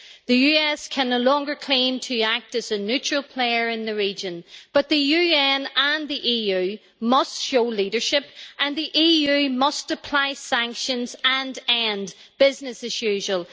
The US can no longer claim to act as a neutral player in the region, but the UN and the EU must show leadership, and the EU must apply sanctions and end business as usual.